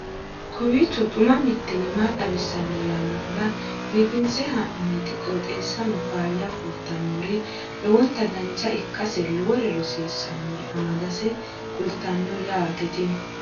kowiicho xuma mtini maa xawissanno yaannohura biifinse haa'noonniti qooxeessano faayya kultannori lowonta dancha ikkase lowore rosiisannore amadase kultannote yaate tini